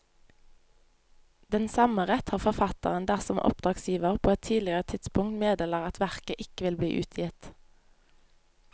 Den samme rett har forfatteren dersom oppdragsgiver på et tidligere tidspunkt meddeler at verket ikke vil bli utgitt.